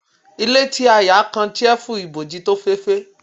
Ile ti a ya kan cheerful iboji ti ofeefee.